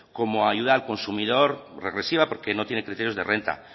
como ayuda al consumidor regresiva porque no tiene criterios de renta